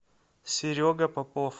серега попов